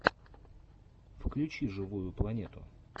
включи живую планету